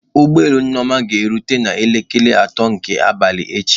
Ụgbọ elu Nneoma ga-erute n'elekere atọ nke abalị echi